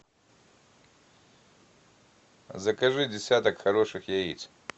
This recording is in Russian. закажи десяток хороших яиц